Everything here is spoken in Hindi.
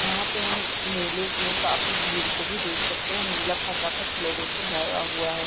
यहाँ पे हम मेले मे काफी भीड़ को भी देख सकते है मेला खचा-खच लोगो से भरा हुआ है।